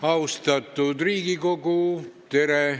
Austatud Riigikogu, tere!